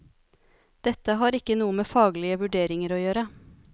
Dette har ikke noe med faglige vurderinger å gjøre.